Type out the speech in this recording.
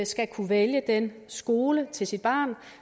skal kunne vælge den skole til sit barn